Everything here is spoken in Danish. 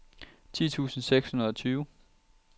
ti tusind seks hundrede og tyve